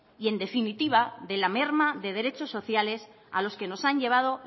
y en definitiva de la merma de derechos sociales a los que nos han llevado